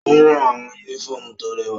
O ran awọn unifọmú to rẹwa.